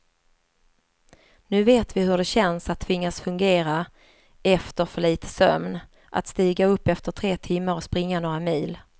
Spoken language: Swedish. Nu vet vi hur det känns att tvingas fungera efter för lite sömn, att stiga upp efter tre timmar och springa några mil.